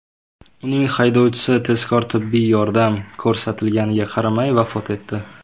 Uning haydovchisi tezkor tibbiy yordam ko‘rsatilganiga qaramay, vafot etdi.